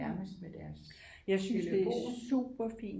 Nærmest med deres telefon